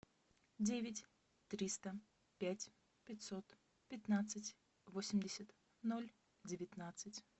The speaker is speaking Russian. девять триста пять пятьсот пятнадцать восемьдесят ноль девятнадцать